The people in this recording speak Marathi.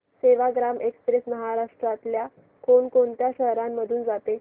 सेवाग्राम एक्स्प्रेस महाराष्ट्रातल्या कोण कोणत्या शहरांमधून जाते